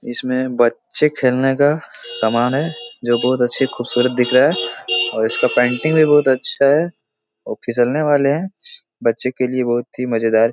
इसमें बच्चे खेलने का सामान है जो बहोत अच्छे खूबसूरत दिख रहा है और इसका पेंटिंग भी बहोत अच्छा है और फिसलने वाले है बच्चे के लिए बहोत ही मज़ेदार --